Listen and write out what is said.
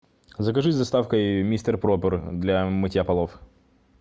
закажи с доставкой мистер пропер для мытья полов